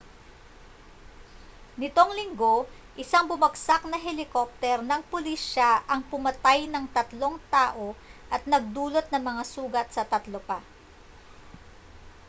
nitong linggo isang bumagsak na helikopter ng pulisya ang pumatay ng tatlong tao at nagdulot ng mga sugat sa tatlo pa